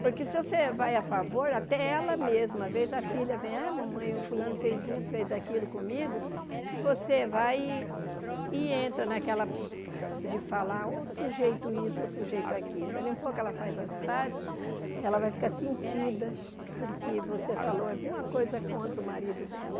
Porque se você vai a favor, até ela mesmo, às vezes a filha vem, ah, mamãe, o fulano fez isso, fez aquilo comigo, e você vai e e entra naquela de falar, ô sujeito isso, ô sujeito aquilo, dali um pouco ela faz as pazes, ela vai ficar sentida porque você falou alguma coisa contra o marido dela.